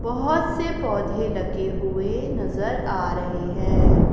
बहोत से पौधे लगे हुए नजर आ रहे हैं।